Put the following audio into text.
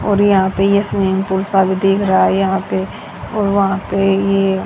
और यहां पे ये स्विमिंग पूल सा दिख रहा है यहां पे और वहां पे ये --